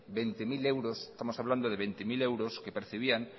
veinte punto cero euros estamos hablando de veinte mil euros que percibían